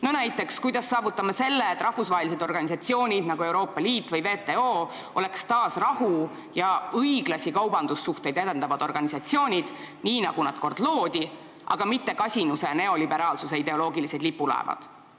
Näiteks, kuidas me saavutame selle, et rahvusvahelised organisatsioonid nagu Euroopa Liit või WTO oleksid taas rahu ja õiglasi kaubandussuhteid edendavad organisatsioonid, nii nagu nad kord loodi, aga mitte kasinuse ja neoliberaalsuse ideoloogilised lipulaevad?